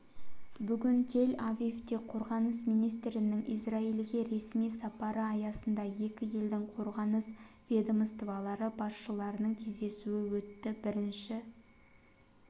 бүгін тель-авивте қорғаныс министрінің израильге ресми сапары аясында екі елдің қорғаныс ведомстволары басшыларының кездесуі өтті бірінші